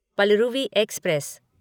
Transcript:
Palaruvi express